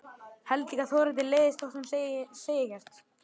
Held líka að Þórhildi leiðist þótt hún segi ekkert.